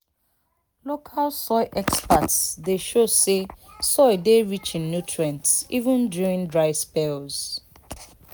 local soil experts dey show say soil dey rich in nutrients even during dry spells."